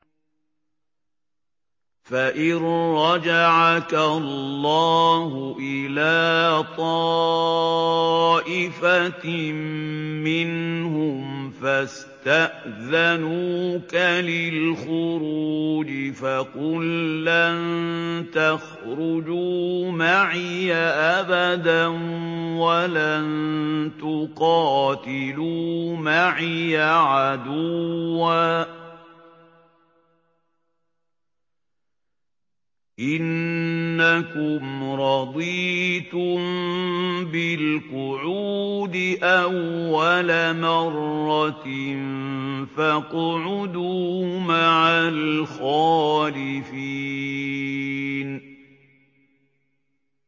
فَإِن رَّجَعَكَ اللَّهُ إِلَىٰ طَائِفَةٍ مِّنْهُمْ فَاسْتَأْذَنُوكَ لِلْخُرُوجِ فَقُل لَّن تَخْرُجُوا مَعِيَ أَبَدًا وَلَن تُقَاتِلُوا مَعِيَ عَدُوًّا ۖ إِنَّكُمْ رَضِيتُم بِالْقُعُودِ أَوَّلَ مَرَّةٍ فَاقْعُدُوا مَعَ الْخَالِفِينَ